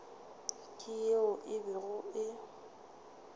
ke yeo e bego e